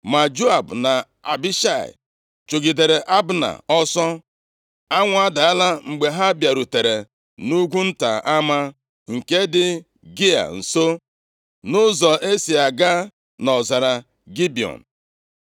Ma Joab na Abishai chụgidere Abna ọsọ. Anwụ adaala mgbe ha bịarutere nʼugwu nta Ama, nke dị Gịa nso, nʼụzọ e si aga nʼọzara Gibiọn.